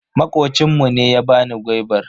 Makocin mu ne ya bani gwaibar.